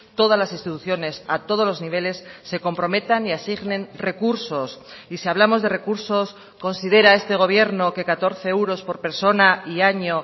todas las instituciones a todos los niveles se comprometan y asignen recursos y si hablamos de recursos considera este gobierno que catorce euros por persona y año